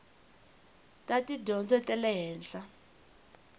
ta tidyondzo ta le henhla